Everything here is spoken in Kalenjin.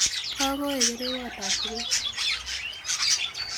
Kakoye kerewoot ab chupeet